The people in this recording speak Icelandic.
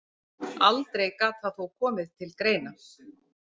Aldrei gat það þó komið til greina.